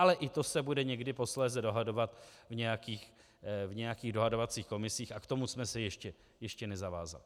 Ale i to se bude někdy posléze dohadovat v nějakých dohadovacích komisích a k tomu jsme se ještě nezavázali.